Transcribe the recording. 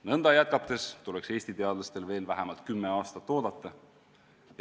Nõnda jätkates tuleks Eesti teadlastel veel vähemalt kümme aastat oodata.